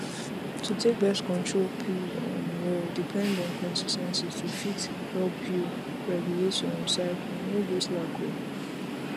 to take birth control pills um well depend on consis ten cy to fit help you regulate your um cycle no go slack o